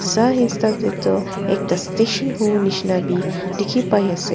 sai hisab de tu ekta station hobo nishena b dikhi pai ase.